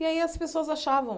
E aí as pessoas achavam